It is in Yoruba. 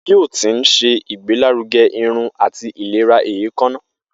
Biotin ṣe igbelaruge irun ati ilera eekanna.